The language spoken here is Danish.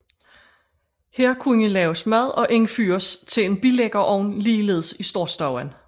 Her kunne laves mad og indfyres til en billæggerovn ligeledes i storstuen